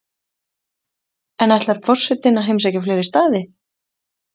En ætlar forsetinn að heimsækja fleiri staði?